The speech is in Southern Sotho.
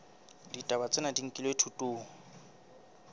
ditaba tsena di nkilwe thutong